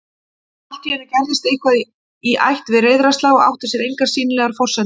En alltíeinu gerðist eitthvað í ætt við reiðarslag og átti sér engar sýnilegar forsendur